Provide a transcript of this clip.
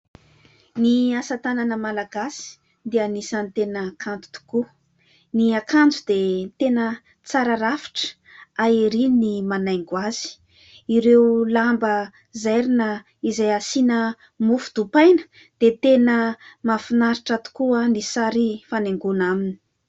Ny asa-tanana malagasy dia anisan'ny tena kanto tokoa. Ny akanjo dia tena tsara rafitra, hay ery ny manaingo azy, ireo lamba zairina izay asiana mofo dipaina dia tena mahafinaritra tokoa ny sary fanaingona aminy.